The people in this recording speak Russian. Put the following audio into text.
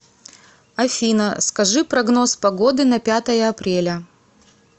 афина скажи прогноз погоды на пятое апреля